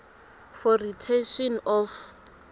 for retention of